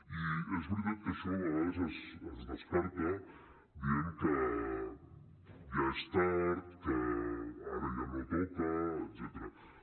i és veritat que això a vegades es descarta dient que ja és tard que ara ja no toca etcètera